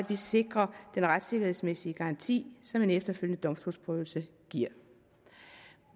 vi sikrer den retssikkerhedsmæssige garanti som en efterfølgende domstolsprøvelse giver